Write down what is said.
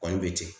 Kɔli bɛ ten